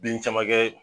Bin caman kɛ